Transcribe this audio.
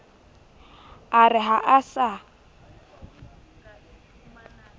a re ha a sa